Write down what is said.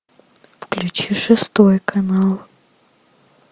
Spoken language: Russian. включи шестой канал